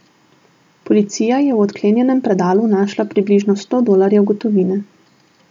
Policija je v odklenjenem predalu našla približno sto dolarjev gotovine.